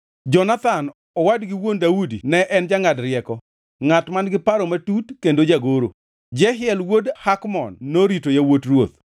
Jonathan, owadgi wuon Daudi ne en jangʼad rieko, ngʼat man-gi paro matut, kendo jagoro. Jehiel wuod Hakmon norito yawuot ruoth.